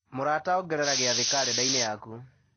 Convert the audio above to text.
mũrata ongerera gĩathĩ karenda-inĩ yaku